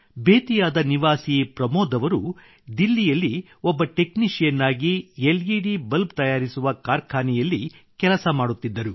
ಬೇತಿಯಾದ ನಿವಾಸಿ ಪ್ರಮೋದ್ ಅವರು ದಿಲ್ಲಿಯಲ್ಲಿ ಒಬ್ಬ ಟೆಕ್ನಿಶಿಯನ್ ಆಗಿ ಲೆಡ್ ಬಲ್ಬ್ ತಯಾರಿಸುವ ಕಾರ್ಖಾನೆಯಲ್ಲಿ ಕೆಲಸ ಮಾಡುತ್ತಿದ್ದರು